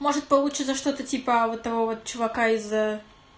может получится что-то типа вот этого вот чувака из